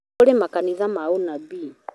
Kũrĩ makanitha ma ũnabii